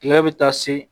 Tigɛ bɛ taa se